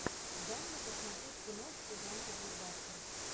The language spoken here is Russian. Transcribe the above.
дай мне посмотреть киношку жанра блокбастер